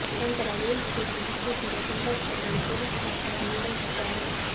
ನಂತರ ರೋಹಿತ್ ಶೆಟ್ಟಿ ಚಿತ್ರಿಸಿದ ಸಿಂಬಾ ಚಿತ್ರದಲ್ಲಿ ಪೋಲೀಸ್ ಪಾತ್ರವನ್ನು ನಿರ್ವಹಿಸಿದ್ದಾರೆ